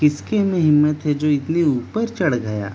किसके में हिम्‍मत है जो इतने ऊपर चढ़ गया।